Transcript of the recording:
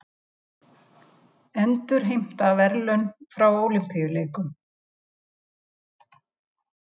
Endurheimta verðlaun frá Ólympíuleikum